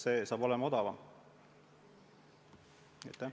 Nii saab odavamalt.